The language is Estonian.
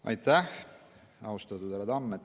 Aitäh, austatud härra Tamm!